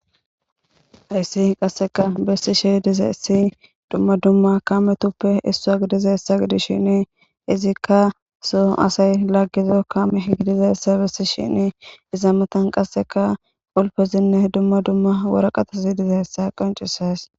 Hayssi qaseka besishe dizayssi. Duma duma kaametupe issowa gididaysa gidishin izika soo asay laagiza kaame gidizaysa besishini izza matan qasseka qulfezine duma duma waraqateti dizayssa qoncises.